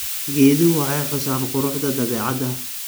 Geeduhu waxay xusaan quruxda dabeecadda.